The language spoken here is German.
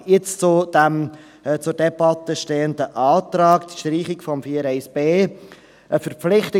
Jetzt zu diesem zur Debatte stehenden Antrag, die Streichung von Artikel 4 Absatz 2